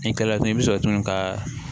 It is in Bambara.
Ni kalatu i bɛ sɔrɔ tugun ka